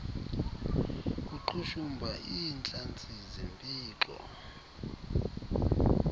kuqhushumba iintlantsi zempixo